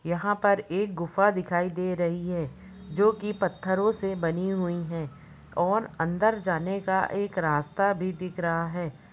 यहाँ पर एक गुफा दिखाई दे रही है जो के पत्थरो से बनी हुई है और अंदर जाने का एक रास्ता भी दिख रहा है।